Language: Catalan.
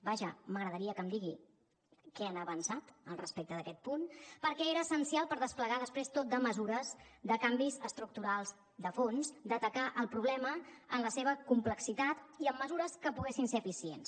vaja m’agradaria que em digui què han avançat al respecte d’aquest punt perquè era essencial per desplegar després tot de mesures de canvis estructurals de fons d’atacar el problema en la seva complexitat i amb mesures que poguessin ser eficients